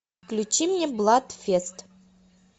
включи мне бладфест